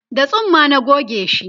da tsumma na gogeshi